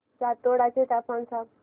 जातोडा चे तापमान सांग